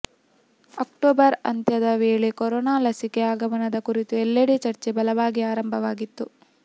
October ಅಂತ್ಯದ ವೇಳೆ corona ಲಸಿಕೆ ಆಗಮನದ ಕುರಿತು ಎಲ್ಲೆಡೆ ಚರ್ಚೆ ಬಲವಾಗಿ ಆರಂಭವಾಗಿತ್ತು